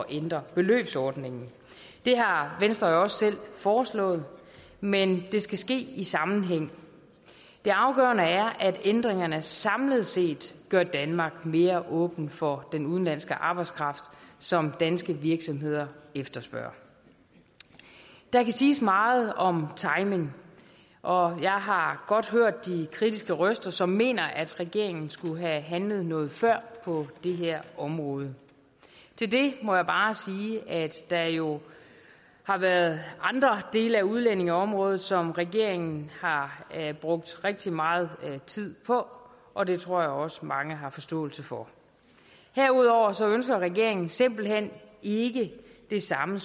ændre beløbsordningen det har venstre jo også selv foreslået men det skal ske i sammenhæng det afgørende er at ændringerne samlet set gør danmark mere åben for den udenlandske arbejdskraft som danske virksomheder efterspørger der kan siges meget om timing og jeg har godt hørt de kritiske røster som mener at regeringen skulle have handlet noget før på det her område til det må jeg bare sige at der jo har været andre dele af udlændingeområdet som regeringen har brugt rigtig meget tid på og det tror jeg også mange har forståelse for herudover ønsker regeringen simpelt hen ikke det samme